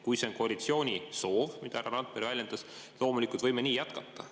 Kui see on koalitsiooni soov, mida härra Randpere väljendas, siis loomulikult me võime nii jätkata.